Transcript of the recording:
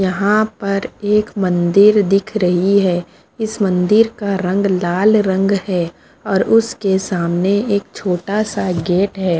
यहाँ पर एक मंदिर दिख रही है इस मंदिर का रंग लाल रंग है और उसके सामने एक छोटा सा गेट है।